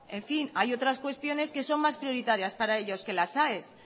en fin hay otras cuestiones que son más prioritarias para ellos que las aes